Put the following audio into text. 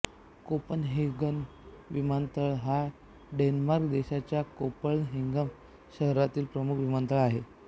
Copenhagen विमानतळ हा Denmark देशाच्या कोपनहेगन शहरामधील प्रमुख विमानतळ आहे